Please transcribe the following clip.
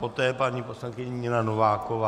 Poté paní poslankyně Nina Nováková.